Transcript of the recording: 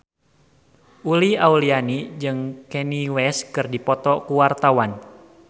Uli Auliani jeung Kanye West keur dipoto ku wartawan